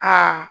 Aa